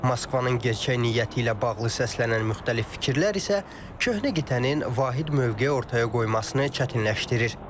Moskvanın gerçək niyyəti ilə bağlı səslənən müxtəlif fikirlər isə köhnə qitənin vahid mövqe ortaya qoymasını çətinləşdirir.